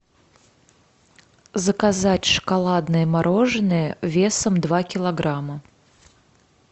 заказать шоколадное мороженое весом два килограмма